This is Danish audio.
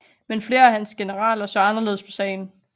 Men flere af hans generaler så anderledes på sagen